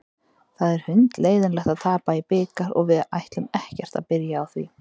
Það er hundleiðinlegt að tapa í bikar og við ætlum ekkert að byrja á því.